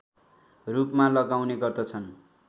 रूपमा लगाउने गर्दछन्